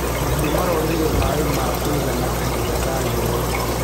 Mahiũ maronire maĩ ma kũigana kahinda ka riũa.